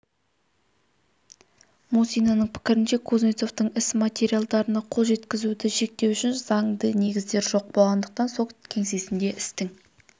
мусинаның пікірінше кузнецовтың іс материалдарына қол жеткізуді шектеу үшін заңды негіздер жоқ болғандықтан сот кеңсесінде істің